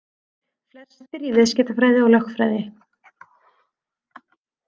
Flestir í viðskiptafræði og lögfræði